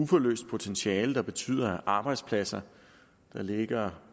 uforløst potentiale der betyder at arbejdspladser der ligger